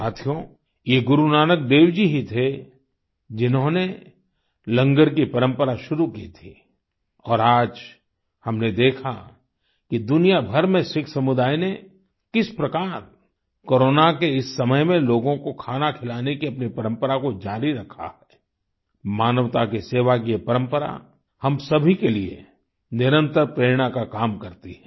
साथियो ये गुरु नानक देव जी ही थे जिन्होंने लंगर की परंपरा शुरू की थी और आज हमने देखा कि दुनियाभर में सिख समुदाय ने किस प्रकार कोरोना के इस समय में लोगों को खाना खिलाने की अपनी परंपरा को जारी रखा है मानवता की सेवा की ये परंपरा हम सभी के लिए निरंतर प्रेरणा का काम करती है